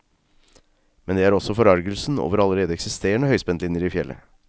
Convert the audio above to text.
Men det er også forargelsen over allerede eksisterende høyspentlinjer i fjellet.